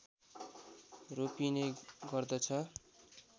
रोपिने गर्दछ